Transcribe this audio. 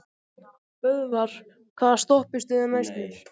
Böðvar, hvaða stoppistöð er næst mér?